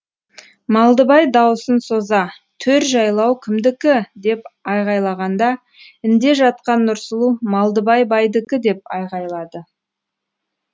малдыбай дауысын соза төр жайлау кімдікі деп айғайлағанда інде жатқан нұрсұлу малдыбай байдікі деп айғайлады